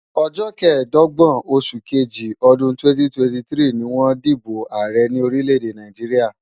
Ọjọ́ kẹẹ̀dọ́gbọ̀n oṣù kejì ọdún 2023 ni wọ́n dìbò ààrẹ ní orílẹ̀-èdè Nàìjíríà.